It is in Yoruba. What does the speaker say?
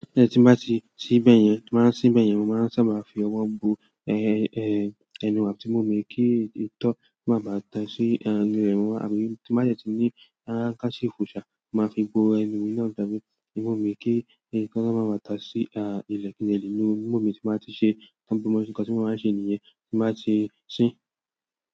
Tí n bá ti se bẹ̀yẹn, tí mo bá se bẹ̀yẹn, mo máa sábà máa fi ọwọ́ bo, ẹ, ẹ, ẹnu àti imu mi kí itó má bàá tà sí ẹnu rẹ wọ́n. Àbí tí má dẹ ti ní handkerchief ṣà, máa fi gbó ẹnu mi náà tàbí imu mi kí itó má bàá tà sí ilẹ̀ kín de lé nú imu mi tí máa ti ṣe, tí mo bá ṣe nǹkan tí mo maa n ṣe nìyẹn tí màá ti sín.